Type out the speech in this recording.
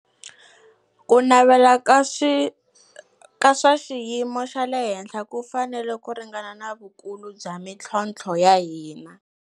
Ku navela ka swa xiyimo xa le henhla ku fanele ku ringana na vukulu bya mitlhontlho ya hina.